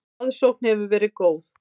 Aðsókn hefur verið góð.